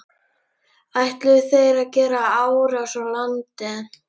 Ætluðu þeir að gera árás á landið?